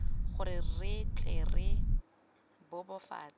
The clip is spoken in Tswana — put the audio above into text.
gore re tle re bebofatse